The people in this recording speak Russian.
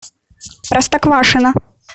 простоквашино